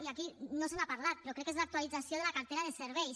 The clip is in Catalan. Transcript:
i aquí no se n’ha parlat però crec que és l’actualització de la cartera de serveis